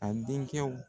A denkɛw